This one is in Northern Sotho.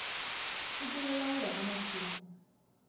sepelela go ya ka mathoko